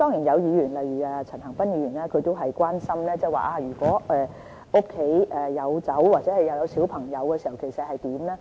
有議員，例如陳恒鑌議員關心，如果家裏有酒又有小朋友會怎樣呢？